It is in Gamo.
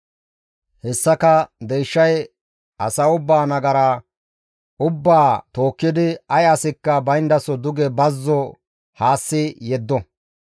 Hessika deyshay asa ubbaa nagara ubbaa tookkidi ay asikka bayndaso duge bazzo haassi yeddo.